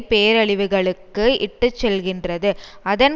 பேரழிவுகளுக்கு இட்டுச்செல்கின்றது அதன்